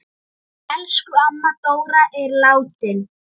Elsku amma Dóra er látin.